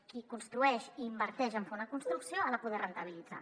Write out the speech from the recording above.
qui construeix i inverteix en fer una construcció l’ha de poder rendibilitzar